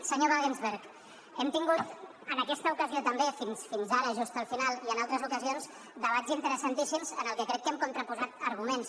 senyor wagensberg hem tingut en aquesta ocasió també fins ara just al final i en altres ocasions debats interessantíssim en què crec que hem contraposat arguments